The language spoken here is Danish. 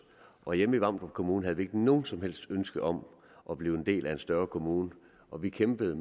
og hjemme i vamdrup kommune havde vi noget som helst ønske om at blive en del af en større kommune og vi kæmpede